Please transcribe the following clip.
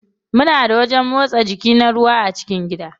Muna da wajen motsa jiki na ruwa a cikin gida.